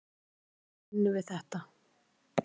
Þannig vinnum við þetta.